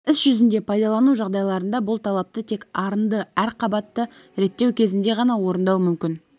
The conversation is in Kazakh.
іс жүзінде пайдалану жағдайларында бұл талапты тек арынды әр қабатта реттеу кезінде ғана орындау мүмкін